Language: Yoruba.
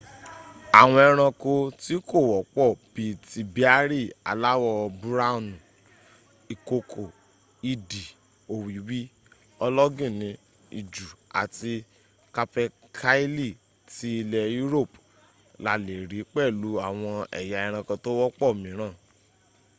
àwọn ẹranko tí kò wọ́pọ̀ bí i ti béárì aláwọ̀ búráwùn ìkokò idì òwìwí ológìnní ijù àti capercaillie ti ilẹ̀ europe la lè rí pẹ̀lú àwọn ẹ̀yà ẹranko tó wọ́pọ̀ míràn